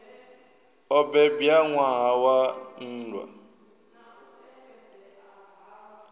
o bebwa ṋwaha wa nndwa